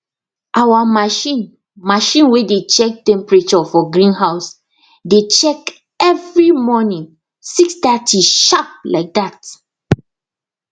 our machine machine way dey check temperature for greenhouse dey check every morning six thirty sharp like that